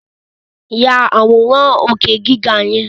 Ya àwòrán òkè gíga yẹn!